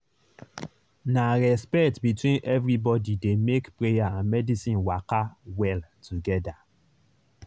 na respect between everybody dey make prayer and medicine waka well together.